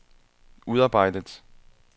udarbejdet